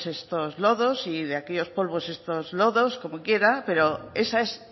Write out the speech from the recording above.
pues estos lodos y de aquellos polvos estos lodos como quiera pero esa es